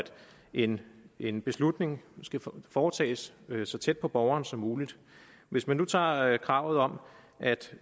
en en beslutning skal foretages så tæt på borgeren som muligt hvis man nu tager kravet om at